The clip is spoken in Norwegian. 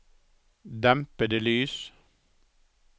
dempede lys